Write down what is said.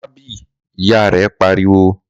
Má bì', ìyá rè pariwo